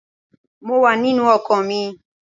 Mo wà nínú ọkọ̀ mi